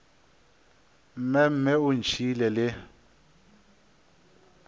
mme mme o ntšhiile le